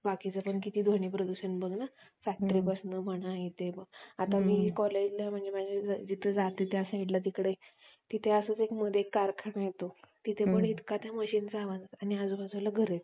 काही वेळेला तर छोट्या बाळांची असते. त्यांना काय केलं जातं?